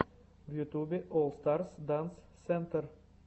в ютубе олл старс данс сентр